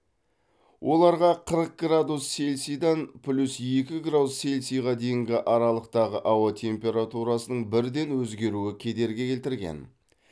оларға қырық градус цельсидан плюс екі градус цельсиға дейінгі аралықтағы ауа температурасының бірден өзгеруі кедергі келтірген